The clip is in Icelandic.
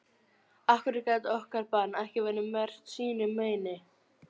Af hverju gat okkar barn ekki verið merkt sínu meini?